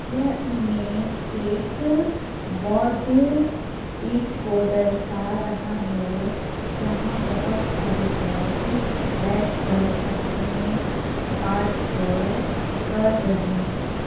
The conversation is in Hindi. यह इमेज एक बौद्ध पीठ को दर्शा रहा है जहाँ बहोत सारे बौद्ध बैठकर अपने पाठ को कर रहे है।